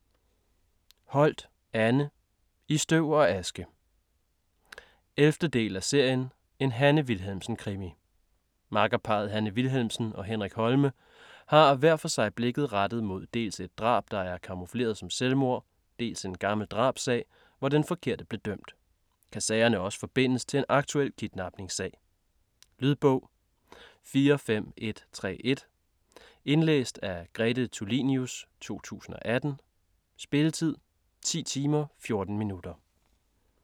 Holt, Anne: I støv og aske 11. del af serien En Hanne Wilhelmsen-krimi. Makkerparret Hanne Wilhelmsen og Henrik Holme har hver for sig blikket rettet mod dels et drab der er kamufleret som selvmord, dels en gammel drabssag, hvor den forkerte blev dømt. Kan sagerne også forbindes til en aktuel kidnapningssag? Lydbog 45131 Indlæst af Grete Tulinius, 2018. Spilletid: 10 timer, 14 minutter.